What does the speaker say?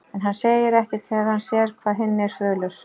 En hann segir ekkert þegar hann sér hvað hinn er fölur.